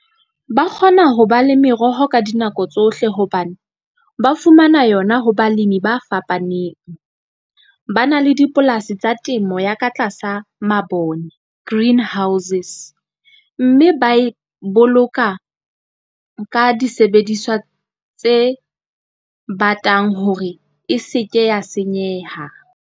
Ba kgona ho ba le meroho ka dinako tsohle hobane ba fumana yona ho balemi ba fapaneng. Ba na le dipolasi tsa temo ya ka tlasa mabone greenhouses, mme ba e boloka ka disebediswa tse batang hore e se ke ya senyeha.